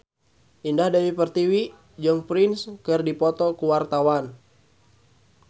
Indah Dewi Pertiwi jeung Prince keur dipoto ku wartawan